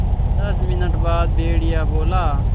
दस मिनट बाद भेड़िया बोला